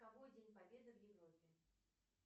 день победы в европе